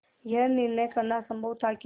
यह निर्णय करना असम्भव था कि